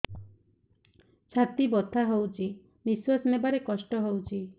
ଛାତି ବଥା ହଉଚି ନିଶ୍ୱାସ ନେବାରେ କଷ୍ଟ ହଉଚି